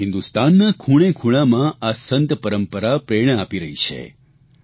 અને હિંદુસ્તાનના ખૂણેખૂણામાં આ સંત પરંપરા પ્રેરણા આપી રહી છે